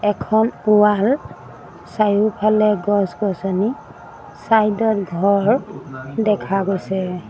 এখন ৱাল চাৰিওফালে গছ-গছনি চাইড ত ঘৰ দেখা হৈছে।